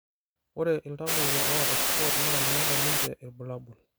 ore iltamoyia oota SCOT naa meeta ninche irbulabol